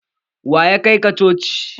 Waya kai ka coci?